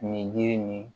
Nin jiri nin